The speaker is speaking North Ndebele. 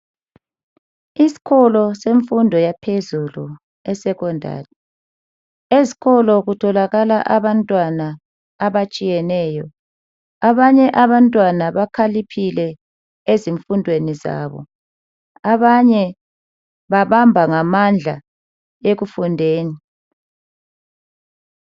Iskolo semfundo yaphezulu esecondary. Eskolo kutholakala abantwana abatshiyeneyo. Abanye abantwana bakhaliphile ezifundweni zabo abanye njalo babamba ngamandla ekufundeni.